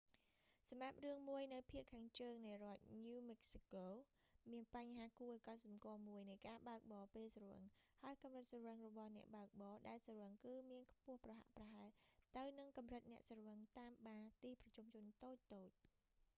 សម្រាប់រឿងមួយនៅភាគខាងជើងនៃរដ្ឋ ញូវ ម៉ិកស៊ីកូ new mexico មានបញ្ហាគួរឱ្យកត់សំគាល់មួយនៃការបើកបរពេលស្រវឹង ហើយកម្រិតស្រវឹងរបស់អ្នកបើកបរ ដែលស្រវឹង គឺមានខ្ពស់ប្រហាក់ប្រហែលទៅនឹងកម្រិតអ្នកស្រវឹងតាមបារ ទីប្រជុំជនតូចៗ